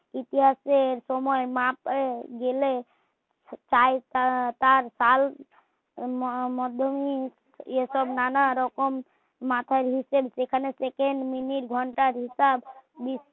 ইতিহাসের সময় না পেয়ে গেলে তাই তার তাই মাধমে এ সব নানা রকম মেনে নিচ্ছেন সেখানে সেকেন্ড মিনিট ঘন্টার হিসাব